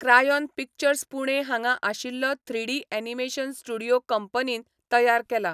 Crayon Pictures Pune हांगा आशिल्लो three D animation studio कंपनीन तयार केला.